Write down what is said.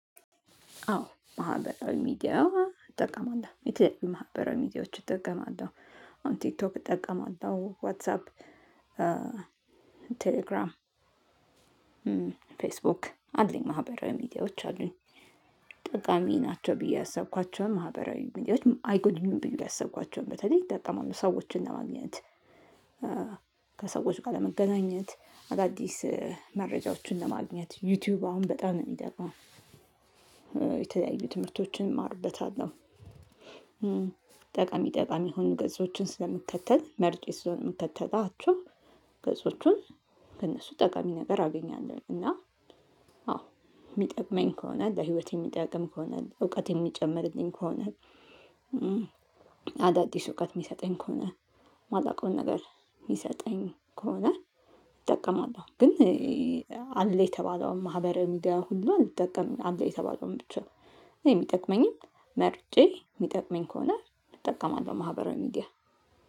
አዎ ማህበራዊ ሚዲያ እጠቀማለሁ። የተለያዩ ማህበራዊ ሚዲያዎች እጠቀማለሁ። ቲክቶክ እጠቀማለሁ፣ ዋትሳፕ፣ ቴሌግራም፣ ፌስቡክ አለኝ ማህበራዊ ሚዲያዎች አሉኝ። ጠቃሚ ናቸው ብዬ ያሰብኳቸው ማህበራዊ ሚዲያዎች አይጎዱኝም ብዬ ያሰብኳቸውን በተለይ እጠቀማለሁ። ሰዎችን ለማግኘት ከሰዎች ጋር ለመገናኘት፣ አዳዲስ መረጃዎችን ለማግኘት። ዩቲዩብ አሁን በጣም ነው የሚጠቅመው። የተለያዩ ትምህርቶችን እማርበታለሁ። ጠቃሚ ጠቃሚ የሆኑ ገጾችን ስለምከተል መርጬ ስለሆነ ስለምከተላቸው ገጾቹን ከእነሱ ጠቃሚ ነገር አገኛለሁ። እና አዎ የሚጠቅመኝ ከሆነ ለህይወቴ የሚጠቅም ከሆነ፣ እውቀት የሚጨምርልኝ ከሆነ አዳዲስ እውቀት የሚሰጠኝ ከሆነ የማላውቀውን ነገር የሚሰጠኝ ከሆነ እጠቀማለሁ። ግን አለ የተባለውን ማህበራዊ ሚዲያ ሁሉ አልጠቀምም። አለ የተባለውን ብቻ ነው የሚጠቅመኝን መርጬ የሚጠቅመኝ ከሆነ እጠቀማለሁ ማህበራዊ ሚዲያ።